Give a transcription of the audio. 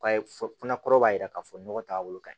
Ka fɔ fana kɔrɔ b'a jira k'a fɔ nɔgɔ t'a bolo ka ɲi